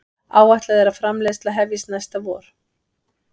Áætlað er framleiðsla hefjist næsta vor